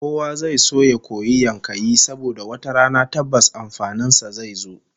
Kowa zai so ya koyi yankayi saboda wata rana tabbas amfanin sa zai zo